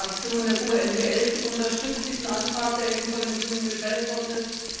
Die Fraktion der GUE NGL unterstützt diesen Antrag, der eben von den Grünen gestellt worden ist.